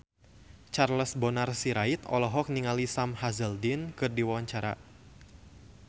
Charles Bonar Sirait olohok ningali Sam Hazeldine keur diwawancara